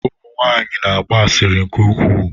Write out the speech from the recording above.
Ụmụ nwanyị na-agba asịrị nke ukwuu.